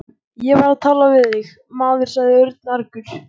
Ég var að tala við þig, maður sagði Örn argur.